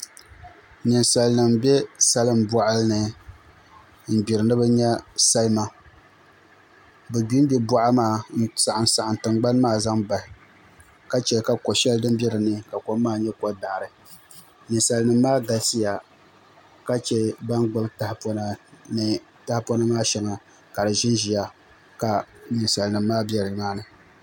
Ninsal nim n bɛ salin boɣa ni n gbiri ni bi nyɛ salima bi gbingbi boɣa maa n saɣam saɣam tingbani maa zaŋ bahi ka chɛ ka ko shɛli din bɛ dinni ka kom maa nyɛ kodaɣari ninsal nim maa galisiya ka chɛ ban gbubi tahapona ni tahapona maa shɛŋa ka di ʒinʒiya ka ninsam nim maa bɛ nimaani